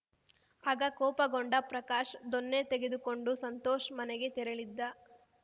ಆಗ ಕೋಪಗೊಂಡ ಪ್ರಕಾಶ್‌ ದೊಣ್ಣೆ ತೆಗೆದುಕೊಂಡು ಸಂತೋಷ್‌ ಮನೆಗೆ ತೆರಳಿದ್ದ